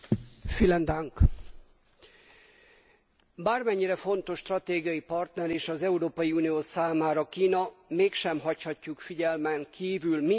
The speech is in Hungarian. Bármennyire fontos stratégiai partner is az Európai Unió számára Kína, mégsem hagyhatjuk figyelmen kívül mindazt a jogsértést, ami Kínában megfigyelhető.